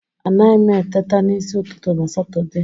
Anaghị m eteta n'isi ụtụtụ na Satọde